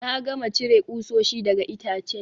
Na gama cire kusoshi daga itacen